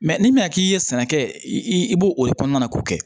n'i bɛna k'i ye sɛnɛ kɛ i b'o o kɔnɔna ko kɛ